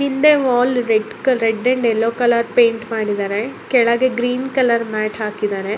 ಹಿಂದೆ wall red colour red and yellow colour paint ಮಾಡಿದ್ದಾರೆ ಕೆಳಗೆ ಗ್ರೀನ್ ಕಲರ್ ಮ್ಯಾಟ್ ಹಾಕಿದ್ದಾರೆ